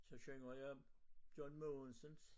Så synger jeg John Mogensens